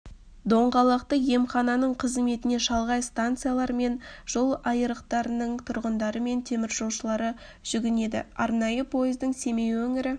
доңғалақты емхананың қызметіне шалғай станциялар мен жол айырықтарының тұрғындары мен теміржолшылары жүгінеді арнайы пойыздың семей өңірі